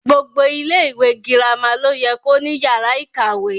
Gbogbo ilẹ ìwé girama lo yẹ ko ní yàrá ìkàwé.